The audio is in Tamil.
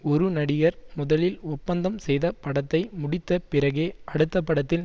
ஒரு நடிகர் முதலில் ஒப்பந்தம் செய்த படத்தை முடித்த பிறகே அடுத்த படத்தில்